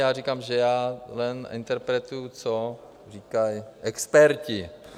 Já říkám, že já jen interpretuji, co říkají experti.